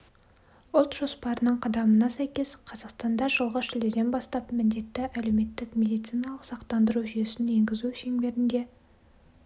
ұлт жоспарының қадамына сәйкес қазақстанда жылғы шілдеден бастап міндетті әлеуметтік медициналық сақтандару жүйесін енгізу шеңберінде